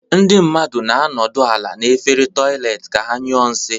Ndị mmadụ na-anọdụ ala n'efere toịletị ka ha nyụọ nshi.